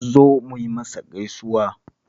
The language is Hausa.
Zo mu yi masa gausuwa